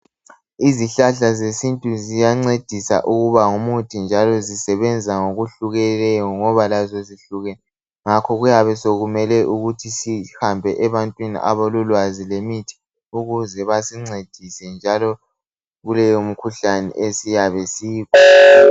Izihlahla zesintu ziyancedisa ukuba ngumuthi njalo zisebenza ngokuhlukeneyo ngoba lazo zihlukene ngakho kuyabe sokumele sihambe ebantwini abalolwazi lemithi ukuze basincedise njalo kuleyo mikhuhlane esiyabe